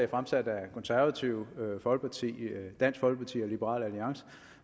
fremsat af det konservative folkeparti dansk folkeparti og liberal alliance